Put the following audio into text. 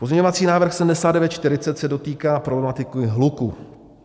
Pozměňovací návrh 7940 se dotýká problematiky hluku.